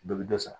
Bɛɛ bɛ dɔ sara